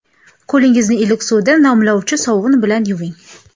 Qo‘lingizni iliq suvda namlovchi sovun bilan yuving.